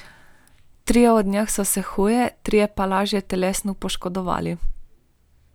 Trije od njih so se huje, trije pa lažje telesno poškodovali.